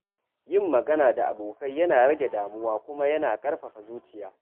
Yin magana da abokai yana rage damuwa kuma yana ƙarfafa zuciya.